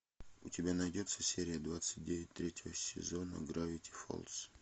у тебя найдется серия двадцать девять третьего сезона гравити фолз